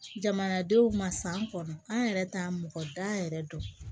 Jamanadenw ma san kɔnɔ an yɛrɛ t'a mɔgɔ da yɛrɛ dɔn